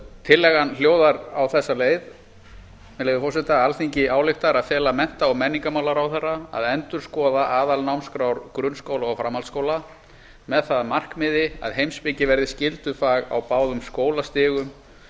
tillagan hljóðar á þessa leið með leyfi forseta alþingi ályktar að fela mennta og menningarmálaráðherra að endurskoða aðalnámskrár grunnskóla og framhaldsskóla með það að markmiði að heimspeki verði skyldufag á báðum skólastigum